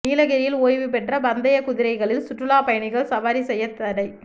நீலகிரியில் ஓய்வுபெற்ற பந்தயக் குதிரைகளில் சுற்றுலாப் பயணிகள் சவாரி செய்யத் தடை